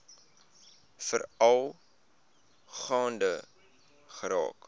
veral gaande geraak